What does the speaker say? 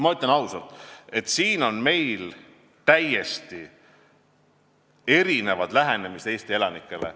Ma ütlen ausalt, siin on meil täiesti erinevad lähenemised Eesti elanikele.